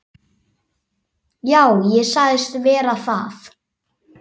Já, ég sagðist vera það.